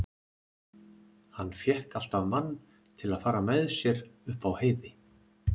Hann fékk alltaf mann til að fara með sér upp á heiði.